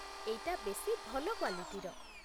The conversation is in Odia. ଏଇଟା ବେଶି ଭଲ କ୍ୱାଲିଟିର ।